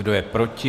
Kdo je proti?